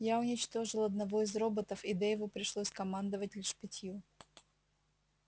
я уничтожила одного из роботов и дейву пришлось командовать лишь пятью